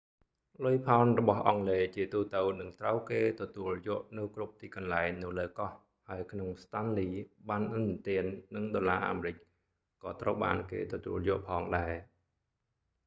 លុយផោនរបស់អង់គ្លេសជាទូទៅនឹងត្រូវគេទទួលយកនៅគ្រប់ទីកន្លែងនៅលើកោះ ហើយក្នុង stanley ប័ណ្ណឥណទាននិងដុល្លារអាមេរិកក៏ត្រូវបានគេទទួលយកផងដែរ